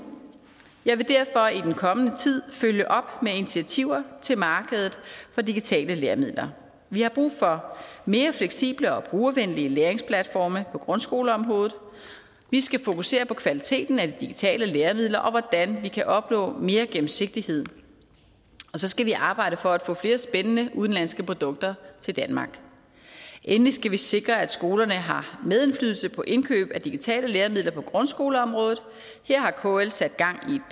jeg vil derfor i den kommende tid følge op med initiativer til markedet for digitale læremidler vi har brug for mere fleksible og brugervenlige læringsplatforme på grundskoleområdet vi skal fokusere på kvaliteten af de digitale læremidler og på hvordan vi kan opnå mere gennemsigtighed og så skal vi arbejde for at få flere spændende udenlandske produkter til danmark endelig skal vi sikre at skolerne har medindflydelse på indkøb af digitale læremidler på grundskoleområdet her har kl sat gang